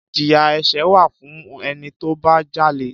Ìjíyà ẹsẹ wà fún ẹnitọbà jàlẹ́.